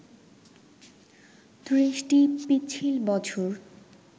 ৩০টি পিচ্ছিল বছর